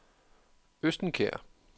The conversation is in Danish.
Østenkær